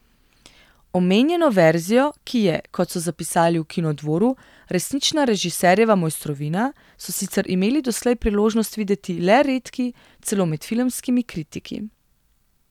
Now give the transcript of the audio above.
Omenjeno verzijo, ki je, kot so zapisali v Kinodvoru, resnična režiserjeva mojstrovina, so sicer imeli doslej priložnost videti le redki, celo med filmskimi kritiki.